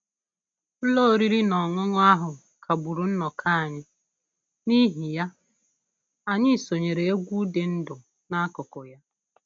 Ụlọ oriri na ọṅụṅụ ahụ kagburu nnọkọ anyị, n'ihi ya, anyị sonyeere egwu dị ndụ n'akụkụ ya